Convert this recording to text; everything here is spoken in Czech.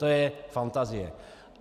To je fantazie.